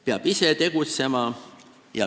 Peab ise tegutsema.